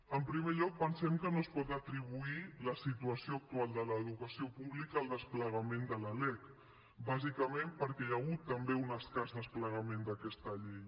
en primer lloc pensem que no es pot atribuir la situació actual de l’educació pública al desplegament de la lec bàsicament perquè hi ha hagut també un escàs desplegament d’aquesta llei